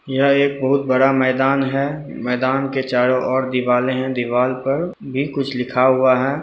यह एक बहुत बड़ा मैदान है। मैदान के चारों ओर दिवाल हैं। दीवाल पर भी कुछ लिखा हुआ है।